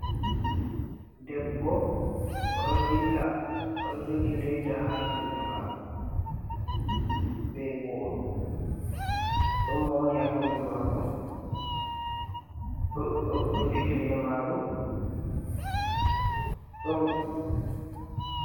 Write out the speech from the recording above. Debbo oɗo dilla oɗo jogi leda ha juɗe mako be boro. Ɗon mowoni ha kombi mako ɗo jogi lemaru ɗo...